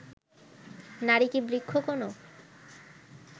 নারী কি বৃক্ষ কোনো